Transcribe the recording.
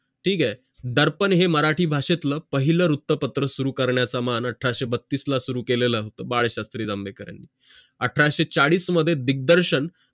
ठीक आहे दर्पण है मराठी भाषेतलं पाहिलं वृत्तपत्र सुरूकरण्याचं मन अठराशें बत्तीस मध्ये सुरु केलेलं होत बाळशास्त्री जांभेकरांनी अठराशे चाडीस मध्ये दिग्दर्शन